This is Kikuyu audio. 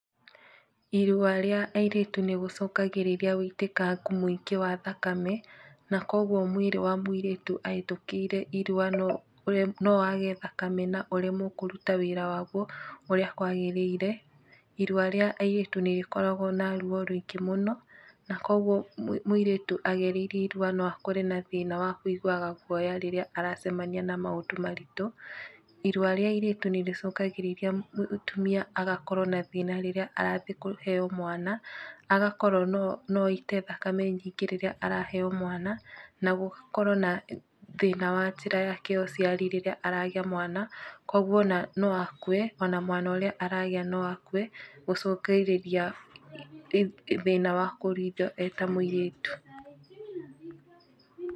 Irua rĩa airĩtu nĩ gũcũngaĩrĩria wũitĩkangu mũingĩ wa thakame, na koguo mwĩrĩ wa mũirĩtu ahetũkĩore irua no wage thakame na ũremwo kũruta wĩra waguo ũrĩa kwagĩrĩre. Irua rĩa airĩtu nĩ rĩkoragwo na ruo rũingĩ mũno, na koguo mũirĩtu agereire irua no akore na thĩna wa kũiguaga guoya rĩrĩa aracemania na maũndũ maritũ. Irua rĩa airĩtu nĩ rĩcũngagĩrĩria mũtumia agakorwo na thĩna rĩrĩa arathiĩ kũheo mwana, agakorwo no aite thakame nyingĩ rĩrĩa araheo mwana, nagũkorwo na thĩna wa njĩra yake ya ũciari rĩrĩa aragĩa mwana, kuũguo ona no akue ona mwana ũríĩ aragĩa no akue, gũcũngĩrĩria thĩna wa kũruithio eta mũirĩtu . .